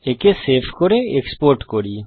একে সেভ করে এক্সপোর্ট করি